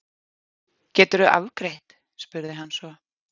Geturðu afgreitt? spurði hann svo.